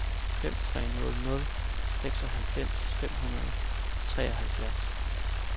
fem tre nul nul seksoghalvfems fem hundrede og treoghalvfjerds